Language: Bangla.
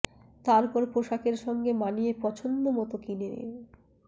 তার পর পোশাকের সঙ্গে মানিয়ে পছন্দ মতো কিনে নিন